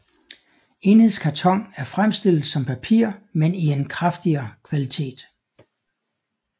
Enhedskarton er fremstillet som papir men i en kraftigere kvalitet